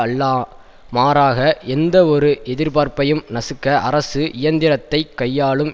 அல்ல மாறாக எந்தவொரு எதிர்பார்ப்பையும் நசுக்க அரசு இயந்திரத்தை கையாளும்